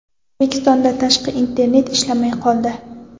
O‘zbekistonda tashqi internet ishlamay qoldi.